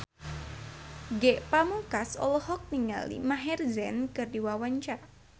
Ge Pamungkas olohok ningali Maher Zein keur diwawancara